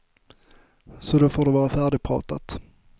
Så då får det vara färdigpratat.